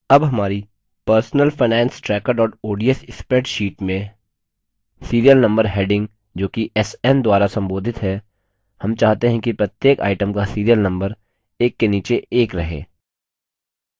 अब हमारी personal finance tracker ods spreadsheet में serial number heading जोकि sn द्वारा संबोधित है हम चाहते हैं कि प्रत्येक item का serial number एक के नीचे एक रहे